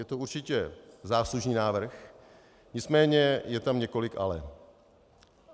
Je to určitě záslužný návrh, nicméně je tam několik ale.